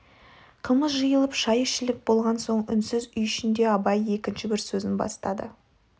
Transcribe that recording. қымыз жиылып шай ішіліп болған соң үнсіз үй ішінде абай екінші бір сөзін бастады